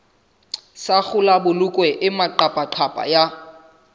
sa kgolabolokwe e maqaphaqapha ya